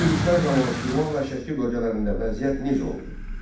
Bu yürüşlər zamanı Şirvan və Şəki bölgələrində vəziyyət necə oldu?